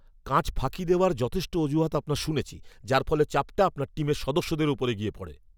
কাজ ফাঁকি দেওয়ার যথেষ্ট অজুহাত আপনার শুনেছি যার ফলে চাপটা আপনার টিমের সদস্যদের উপরে গিয়ে পড়ে!